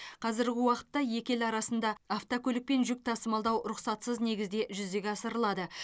қазіргі уақытта екі ел арасында автокөлікпен жүк тасымалдау рұқсатсыз негізде жүзеге асырылады